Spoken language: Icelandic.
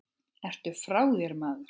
Ertu frá þér maður?